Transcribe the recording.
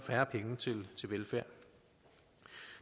færre penge til velfærd